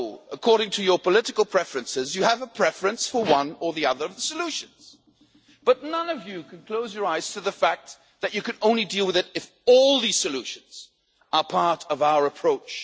According to your political preferences, you have a preference for one or other of the solutions, but none of you can close your eyes to the fact that you can only deal with it if all these solutions are part of our approach.